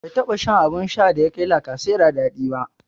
Bai taɓa shan abun shan da ya kai lacasera dadi ba.